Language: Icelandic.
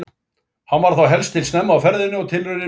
Hann var þar helst til snemma á ferðinni og tilraunin mistókst.